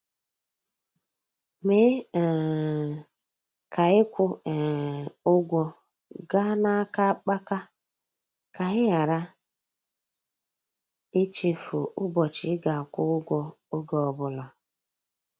Mee um ka ịkwụ um ụgwọ gaa n'aka akpaka ka ị ghara ichefu ụbọchị ị ga-akwụ ụgwọ, ọge ọbụla.